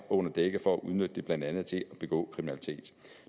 under dække for at udnytte det blandt andet til at begå kriminalitet